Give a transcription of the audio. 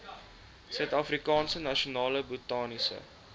suidafrikaanse nasionale botaniese